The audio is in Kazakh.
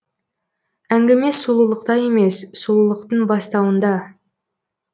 әңгіме сұлулықта емес сұлулықтың бастауында